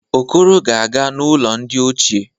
Okoro ga-aga n'ulo ndi ochie.